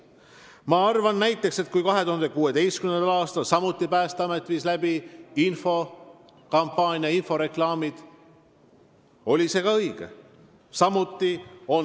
Ma arvan, et ka see oli õige, kui Päästeamet viis 2016. aastal läbi infokampaania, seal olid inforeklaamid.